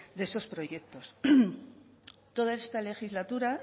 de esos proyectos toda esta legislatura